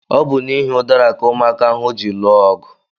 Ọ bu n'ihi udara ka ụmụaka ahụ ji lụọ ọgụ